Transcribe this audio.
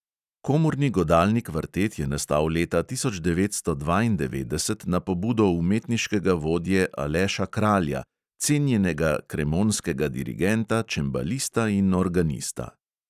Komorni godalni kvartet je nastal leta tisoč devetsto dvaindevetdeset na pobudo umetniškega vodje aleša kralja, cenjenega kremonskega dirigenta, čembalista in organista.